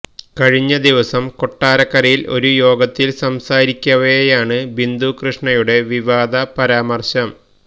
കഴിഞ്ഞദിവസം കൊട്ടാരക്കരയിൽ ഒരു യോഗത്തിൽ സംസാരിക്കവെയാണ് ബിന്ദു കൃഷ്ണയുടെ വിവാദ പരാമർശം